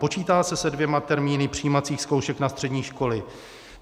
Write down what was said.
Počítá se se dvěma termíny přijímacích zkoušek na střední školy?